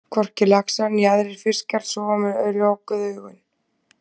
Hvorki laxar né aðrir fiskar sofa með lokuð augun.